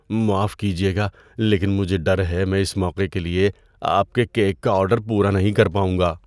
معاف کیجیے گا لیکن مجھے ڈر ہے میں اس موقع کے لیے آپ کے کیک کا آرڈر پورا نہیں کر پاؤں گا۔